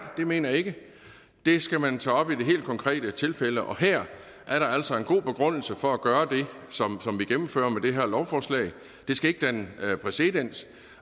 det mener jeg ikke det skal man tage op i de helt konkrete tilfælde og her er der altså en god begrundelse for at gøre det som vi gennemfører med det her lovforslag det skal ikke danne præcedens